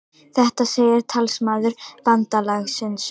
Þetta segir talsmaður bandalagsins